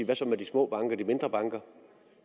hvad så med de små og mindre banker